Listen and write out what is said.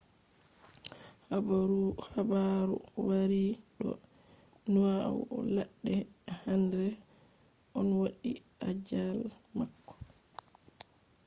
haabaru waari do nyau ladde henre on wadi ajaal mako